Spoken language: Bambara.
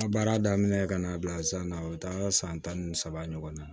Baara daminɛ ka na bila san na o bɛ taa san tan ni saba ɲɔgɔn na